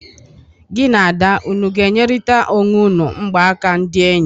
Gi na Ada unu ga-enyerịta onwe unu mgbaka ndị enyi?